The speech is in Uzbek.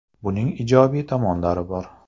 Buning ijobiy tomonlari bor.